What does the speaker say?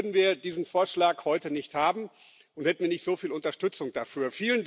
Ohne ihn würden wir diesen Vorschlag heute nicht haben und hätten nicht so viel Unterstützung dafür.